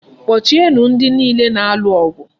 Kpọchie nụ ndị niile na-alụ ọgụ!